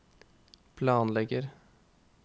planlegger